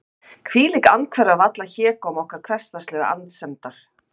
hvílík andhverfa við allan hégóma okkar hversdagslegu annsemdar!